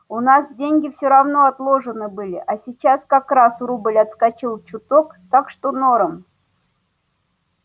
у нас деньги все равно отложены были а сейчас как раз рубль отскочил чуток так что норм